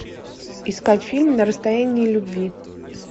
искать фильм на расстоянии любви